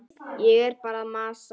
Ég er bara að masa.